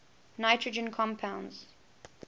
nitrogen compounds